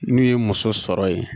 N'u ye muso sɔrɔ yen